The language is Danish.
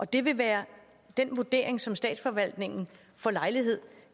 det vil være den vurdering som statsforvaltningen får lejlighed